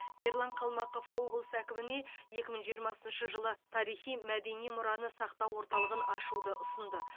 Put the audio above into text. ерлан қалмақов облыс әкіміне екі мың жиырмасыншы жылы тарихи мәдени мұраны сақтау орталығын ашуды ұсынды